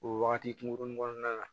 O wagati kunkurunin kɔnɔna la